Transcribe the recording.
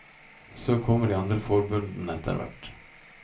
Så kommer de andre forbundene etter hvert.